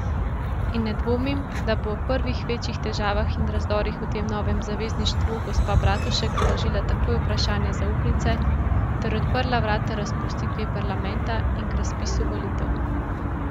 In ne dvomim, da bo ob prvih večjih težavah in razdorih v tem novem zavezništvu gospa Bratušek vložila takoj vprašanje zaupnice ter odprla vrata razpustitvi parlamenta in k razpisu volitev.